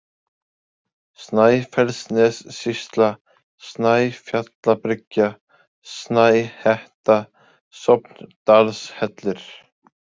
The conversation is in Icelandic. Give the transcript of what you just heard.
Snæfellsnessýsla, Snæfjallabryggja, Snæhetta, Sofndalshellir